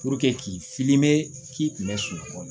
k'i k'i kunbɛn sunɔgɔ